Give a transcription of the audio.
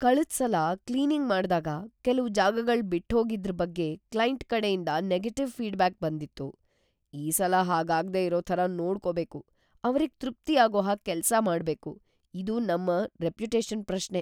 ಕಳ್ದ್‌ ಸಲ ಕ್ಲೀನಿಂಗ್ ಮಾಡ್ದಾಗ ಕೆಲ್ವು ಜಾಗಗಳ್ ಬಿಟ್ಹೋಗಿದ್ರ್ ಬಗ್ಗೆ ಕ್ಲೈಂಟ್ ಕಡೆಯಿಂದ ನೆಗೆಟಿವ್‌ ಫೀಡ್‌ಬ್ಯಾಕ್‌ ಬಂದಿತ್ತು. ಈ ಸಲ ಹಾಗಾಗ್ದೇ ಇರೋ ಥರ ನೋಡ್ಕೊಬೇಕು, ಅವ್ರಿಗ್ ತೃಪ್ತಿಯಾಗೋ ಹಾಗ್‌ ಕೆಲ್ಸ ಮಾಡ್ಬೇಕು, ಇದು ನಮ್‌ ರೆಪ್ಯುಟೇಷನ್‌ ಪ್ರಶ್ನೆ.